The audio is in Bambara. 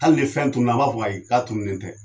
Hali ni fɛn tunna an b'a fɔ ko ayi k'a tunnen tɛ